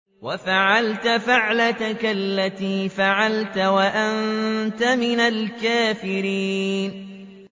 وَفَعَلْتَ فَعْلَتَكَ الَّتِي فَعَلْتَ وَأَنتَ مِنَ الْكَافِرِينَ